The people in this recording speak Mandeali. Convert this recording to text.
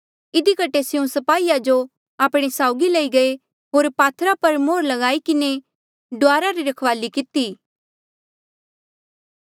इधी कठे स्यों स्पाहीया जो आपणे साउगी लई गये होर पात्थर पर मोहर ल्गाई किन्हें डुआरा री रखवाली किती